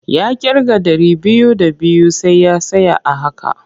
Ya ƙirga ɗari biyu d abiyu sai ya tsaya a haka.